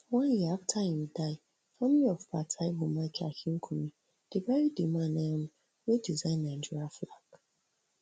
one year afta im die family of pa taiwo michael akinkunmi dey bury di man um wey design nigerian flag